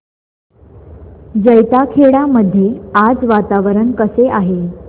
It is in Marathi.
जैताखेडा मध्ये आज वातावरण कसे आहे